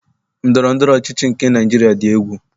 Ndọrọndọrọ ọchịchị nke Naịjiria dị egwu.